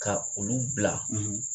Ka olu bila